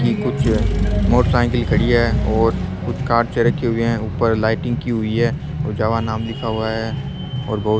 ये कुछ मोटरसीकल खड़ी है और कुछ कांपचे रखे हुए है ऊपर लाइटिंग की हुई है और जावा नाम लिखा हुआ है और बहुत --